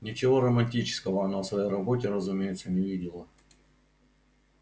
ничего романтического она в своей работе разумеется не видела